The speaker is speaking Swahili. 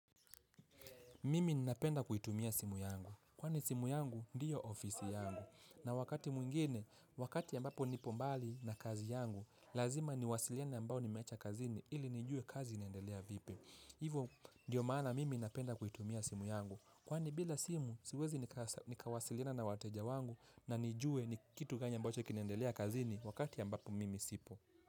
Mimi ninapenda kuitumia simu yangu, kwani simu yangu ndiyo ofisi yangu. Na wakati mwingine, wakati ambapo nipo mbali na kazi yangu, lazima niwasiliane na ambao nimecha kazini ili nijue kazi inaendelea vipi. Hivo ndiyo maana mimi napenda kuitumia simu yangu. Kwani bila simu, siwezi nikawasiliana na wateja wangu na nijue ni kitu gani ambacho kinaendelea kazini wakati ambapo mimi sipo.